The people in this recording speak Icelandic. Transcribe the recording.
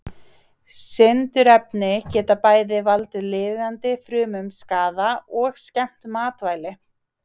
Sindurefni geta bæði valdið lifandi frumum skaða og skemmt matvæli.